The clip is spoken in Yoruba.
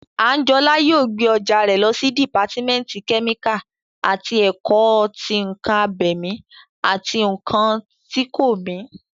Àńjọlá yóò gbé ọjà rẹ̀ lọ sí dìpátímẹ́ǹtì kẹ́míkà àti ẹ̀kọ́ tí ǹkan abẹ̀mí àti ǹkan tí kò mí